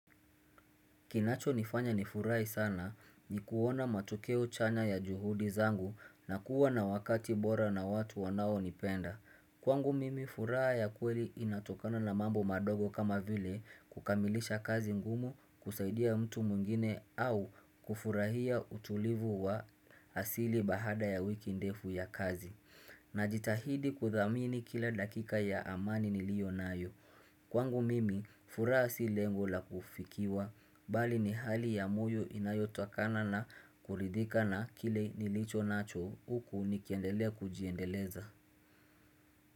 Kinacho nifanya nifurai sana ni kuona matukeo chanya ya juhudi zangu na kuwa na wakati bora na watu wanaonipenda. Kwangu mimi furaha ya kweri inatokana na mambo madogo kama vile kukamilisha kazi ngumu kusaidia mtu mungine au kufurahia utulivu wa asili bahada ya wiki ndefu ya kazi. Najitahidi kuthamini kila dakika ya amani niliyo nayo. Kwangu mimi, furaha si lengo la kufikiwa, bali ni hali ya moyo inayotakana na kuridika na kile nilicho nacho huku nikiendelea kujiendeleza.